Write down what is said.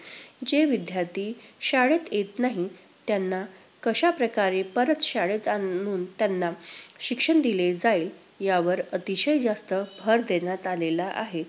जे विद्यार्थी शाळेत येत नाहीत त्यांना कशाप्रकारे परत शाळेत आणून त्यांना शिक्षण दिले जाईल यावर अतिशय जास्त भर देण्यात आलेला आहे.